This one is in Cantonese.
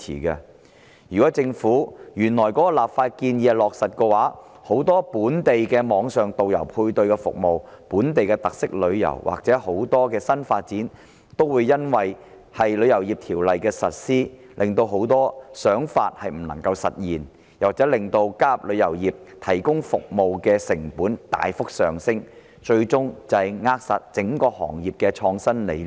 如果落實政府這項立法建議，本地的網上導遊配對服務、本地特色旅遊或新發展等很多想法，都會因為《條例草案》的實施而不能夠實現，又或令加入旅遊業提供服務的成本大幅上升，最終扼殺整個行業的創新理念。